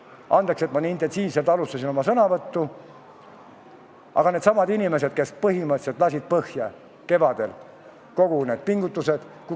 Andke andeks, et ma nii intensiivselt oma sõnavõttu alustasin, aga needsamad inimesed põhimõtteliselt lasid kevadel põhja kõik need pingutused.